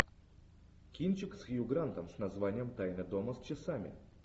кинчик с хью грантом с названием тайна дома с часами